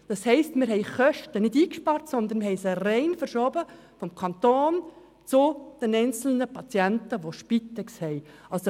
Wir haben keine Kosten eingespart, sondern diese rein vom Kanton zu den einzelnen Spitex-Patienten verschoben.